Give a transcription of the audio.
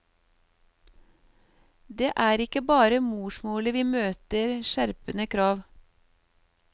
Det er ikke bare i morsmålet vi møter skjerpede krav.